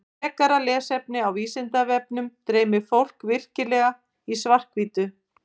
Frekara lesefni á Vísindavefnum Dreymir fólk virkilega í svart-hvítu?